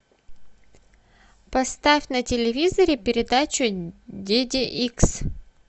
поставь на телевизоре передачу дети икс